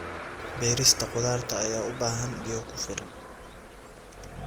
Beerista khudaarta ayaa u baahan biyo ku filan.